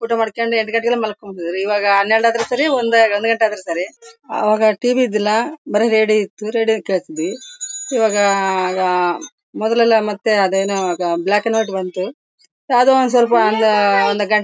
ಊಟ ಮಾಡ್ಕೊಂಡು ಎರಡು ಗಂಟೆಗೆ ಮಲ್ಕೋಳೊದು. ಇವಾಗ ಹನ್ನೆರಡು ಆದ್ರೂ ಸರಿ ಒಂದು ಒಂದು ಗಂಟೆ ಆದ್ರೂ ಸರಿ ಅವಾಗ ಟಿ ವಿ ಇರ್ಲಿಲ್ಲಾ ಬರಿ ರೇಡಿಯೋ ಇತ್ತು ರೇಡಿಯೋ ಕೇಳ್ತಿದ್ವಿ. ಈವಾಗ ಆಗ ಮೊದ್ಲೆಲ್ಲಾ ಮತ್ತೆ ಅದೇನೋ ಬ್ಲಾಕ್ ಅಂಡ್ ವೈಟ್ ಬಂತು ಅದು ಒಂದ್ ಸ್ವಲ್ಪ ಹಂಗೆ ಒಂದ್ ಗಂಟೆ-- --